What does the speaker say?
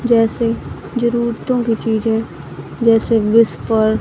जैसे जरूरतों की चीजें जैसे विस्पर --